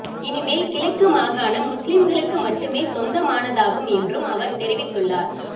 இனிமேல் கிழக்கு மாகாணம் முஸ்லீம்களுக்கு மட்டுமே சொந்தமானதாகும் என்றும் அவர் தெரிவித்துள்ளார்